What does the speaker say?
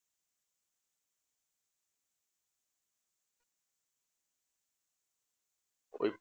ওই